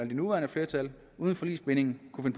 det nuværende flertal uden forligsbinding kunne